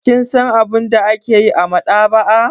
Kin san abin da ake yi a maɗaba'a?